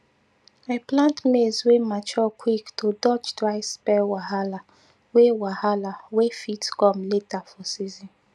i plant maize wey mature quick to dodge dry spell wahala wey wahala wey fit come later for season